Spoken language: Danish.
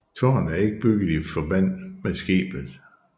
Tårnet er ikke bygget i forbandt med skibet